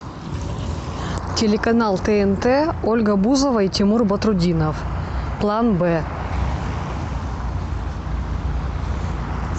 телеканал тнт ольга бузова и тимур батрутдинов план б